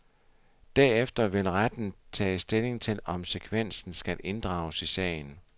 Derefter vil retten tage stilling til, om sekvensen skal inddrages i sagen.